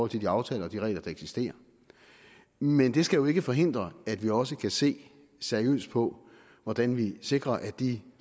de aftaler og de regler der eksisterer men det skal jo ikke forhindre at vi også kan se seriøst på hvordan vi sikrer at de